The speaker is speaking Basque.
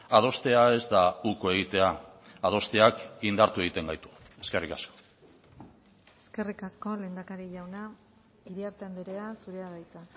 adostea ez da uko egitea adosteak indartu egiten gaitu eskerrik asko eskerrik asko lehendakari jauna iriarte andrea zurea da hitza